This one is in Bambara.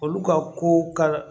Olu ka ko ka